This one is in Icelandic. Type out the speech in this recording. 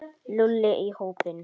Lúlli í hópinn.